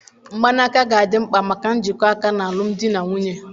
Mgbanaka ga-adị mkpa maka njikọ aka na alụmdi na nwunye.